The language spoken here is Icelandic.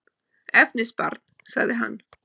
Efnisbarn, sagði hann.